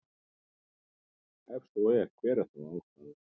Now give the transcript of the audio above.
Ef svo er hver er þá ástæðan?